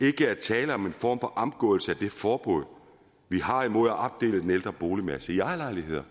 ikke er tale om en form for omgåelse af det forbud vi har imod at opdele den ældre boligmasse i ejerlejligheder